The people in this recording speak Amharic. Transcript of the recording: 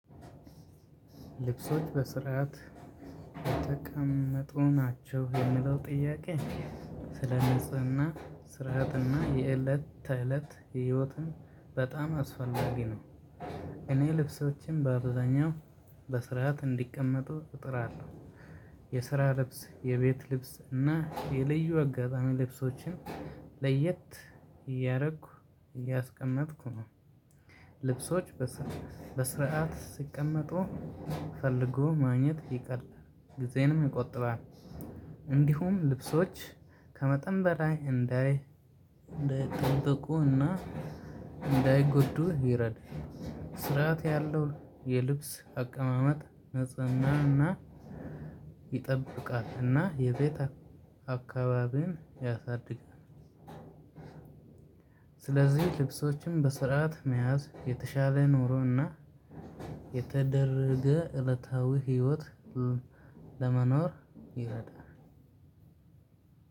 ልብሶች በስርዓት የተቀመጡ ናቸው የምለው ጥያቄ ስለ ንጽህና ስርዓትና የእለት ተእለት ህይወትን በጣም አስፈላጊ ነው። እኔ ልብሶችን በአብዛኛው በስርዓት እንዲቀመጡ እጥራለሁ። የስራ ልብስ የቤት ልብስ እና የልዩ አጋጣሚ ልብሶችን ለየት እያረኩ እያስቀመጥኩ ነው። ልብሶች በስርዓት ሲቀመጡ ፈልጎ ማግኘት ይቀላል ጊዜንም ይቆጥባል። እንዲሁም ልብሶች ከመጠን በላይ እንዳይ እንዳይጣበቁና እንዳይጎዱ ይረድ። ስርዓት ያለው የልብስ አቀማመጥ ንጽህናን እና ይጠብቃል እና የቤት አካባቢን ያሳድጋል። ስለዚህ ልብሶችን በስርዓት መያዝ የተሻለ ኑሮን እና የተደረገ እለታዊ ህይወት ለመኖር ይረዳል።